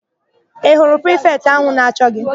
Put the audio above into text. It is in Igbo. Ị hụrụ prifetị áhụ̀ na-achọ gị?